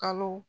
Kalo